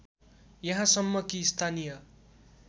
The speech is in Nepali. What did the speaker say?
यहाँसम्म कि स्थानीय